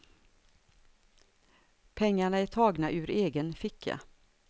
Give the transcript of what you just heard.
Pengarna är tagna ur egen ficka.